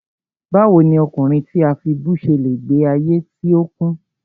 Báwo ni ọkùnrin tí a fibú ṣe le gbe ayé tí ó kún?